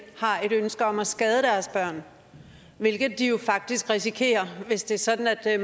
har et ønske om at skade deres børn hvilket de jo faktisk risikerer at gøre hvis det er sådan at